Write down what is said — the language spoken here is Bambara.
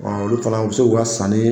Ɔ olu fana, u bɛ se k'u ka sani